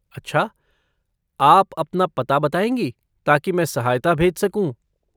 अच्छा, आप अपना पता बताएँगी ताकि मैं सहायता भेज सकूँ?